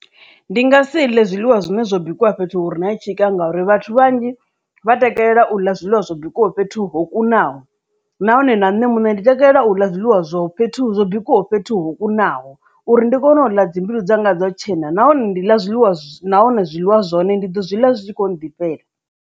Ndi nga si ḽe zwiḽiwa zwine zwo bikiwa fhethu hure na tshika ngori vhathu vhanzhi vha takalela u ḽa zwiḽiwa zwo bikwaho fhethu ho kunaho nahone na nṋe muṋe ndi takalela u ḽa zwiḽiwa zwo fhethu zwo bikwaho fhethu ho kunaho uri ndi kone u ḽa dzi mbilu dza nga dzo tshena nahone ndi ḽa zwiḽiwa nahone zwiḽiwa zwahone ndi ḓo zwiḽa zwitshi kho nḓi fhela.